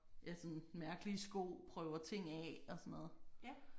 Ja sådan mærkelige sko prøver ting af og sådan noget